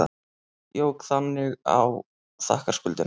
Jók þannig á þakkarskuldina.